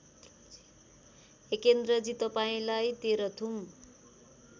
एकेन्द्रजी तपाईँलाई तेह्रथुम